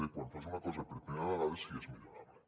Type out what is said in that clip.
quan fas una cosa per primera vegada per si és millorable